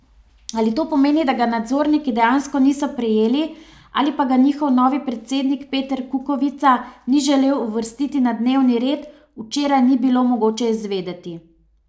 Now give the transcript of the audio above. Ali to pomeni, da ga nadzorniki dejansko niso prejeli ali pa ga njihov novi predsednik Peter Kukovica ni želel uvrstiti na dnevni red, včeraj ni bilo mogoče izvedeti.